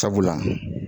Sabula